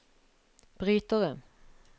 brytere